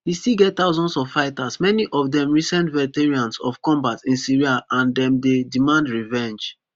e still get thousands of fighters many of dem recent veterans of combat in syria and dem dey demand revenge